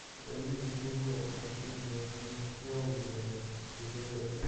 у тебя есть кино приключения мюнхаузена эпизод один